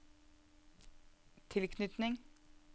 tilknytning